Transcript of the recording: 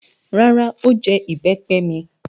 Rárá, ó jẹ ìbẹ́pẹ mi.